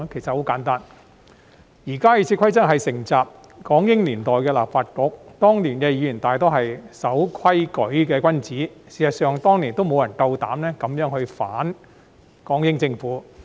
很簡單，現時的《議事規則》是承襲港英年代的立法局，當年的議員大多數是守規矩的君子，事實上當年亦沒有人膽敢這樣地反港英政府。